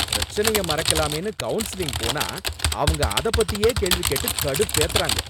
பிரச்சனைய மறக்கலாமேனு கவுன்சிலிங் போனா, அவங்க அத பத்தியே கேள்வி கேட்டு கடுப்பேத்துறாங்க.